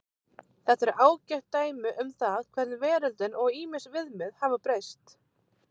Þetta eru ágætt dæmi um það hvernig veröldin og ýmis viðmið hafa breyst.